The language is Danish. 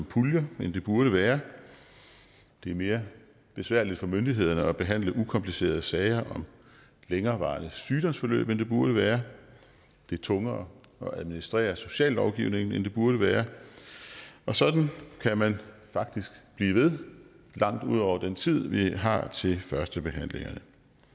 puljer end det burde være det er mere besværligt for myndighederne at behandle ukomplicerede sager om længerevarende sygdomsforløb end det burde være det er tungere at administrere sociallovgivningen end det burde være og sådan kunne man faktisk blive ved langt ud over den tid vi har til førstebehandlingerne